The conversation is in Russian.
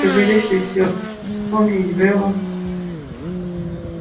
чтобы легче все вспомнить было